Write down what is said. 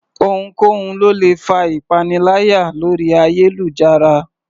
Ohunkóhun ló lè fa ìpaniláyà lórí ayélujára